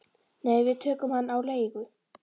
Nei, við tókum hann á leigu